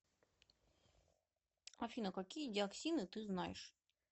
афина какие диоксины ты знаешь